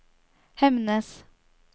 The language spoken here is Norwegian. Hemnes